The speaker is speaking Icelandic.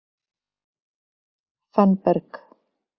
Fannberg